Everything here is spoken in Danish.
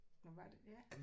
Nåh var det ja